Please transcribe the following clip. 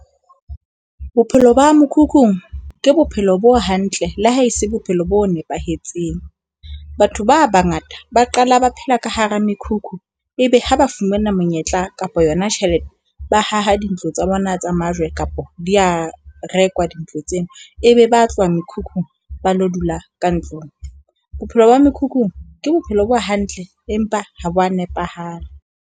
Bophelo ba mokhukhung ke bophelo bo hantle le ha e se bophelo bo nepahetseng. Batho ba bangata ba qala ba phela ka hara mekhukhu, ebe ha ba fumana monyetla kapa yona tjhelete, ba haha dintlo tsa bona tsa majwe kapa di a rekwa dintlo tseo e be ba tloha mekhukhu ba lo dula ka ntlong. Bophelo ba mekhukhung ke bophelo bo hantle empa ha bo a nepahala.